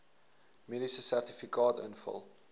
mediese sertifikaat invul